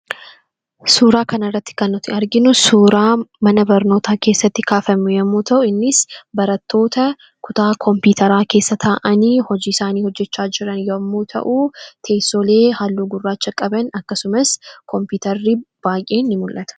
Suuraa kanarratti kan nuti arginu suuraa mana barnootaa keessatti kaafame yoo ta'u, innis barattoota kutaa kompiitaraa keessa taa'anii hojii isaanii hojjachaa jiran yommuu ta'u, teessoolee halluu gurraacha qaban kompiitarri baay'een ni mul'ata.